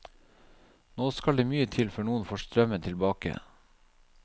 Nå skal det mye til før noen får strømmen tilbake.